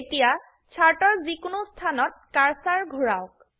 এতিয়া চাৰ্ট এৰ যি কোনো স্থানত কাৰ্সাৰ ঘুৰাওক